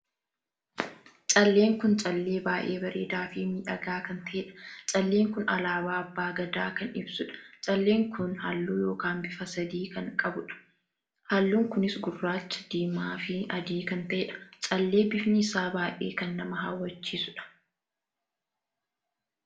Calleen kun callee baay'ee bareedaa fi miidhagaa kan taheedha. calleen kun alaabaa abbaa gadaa kan ibsuudha. calleen kun halluu ykn bifa sadii kan qabuudha. halluun kunis gurraacha, diimaa fi adii kan taheedha. callee bifni isaa baay'ee kan nama hawwachiisudha.